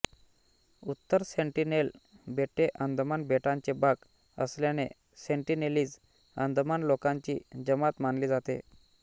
उत्तर सेंटीनेल बेटे अंदमान बेटांचे भाग असल्याने सेंटिनेलीज अंदमान लोकांची जमात मानली जाते